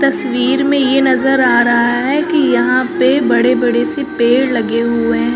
तस्वीर में ये नजर आ रहा है कि यहां पे बड़े बड़े से पेड़ लगे हुए है।